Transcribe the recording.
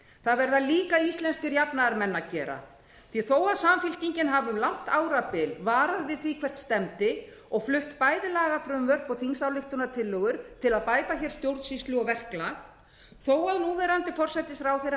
það verða líka íslenskir jafnaðarmenn að gera þó að samfylkingin hafi um langt árabil varað við því hvert stefndi og flutt bæði lagafrumvörp og þingsályktunartillögur til að bæta stjórnsýslu og verklag þó að núverandi